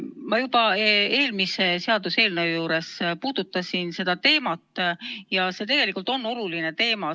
Ma juba eelmise seaduseelnõu menetlemisel puudutasin seda teemat ja see tegelikult on oluline teema.